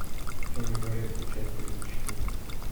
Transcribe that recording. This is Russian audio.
темный дворецкий часть тридцать четыре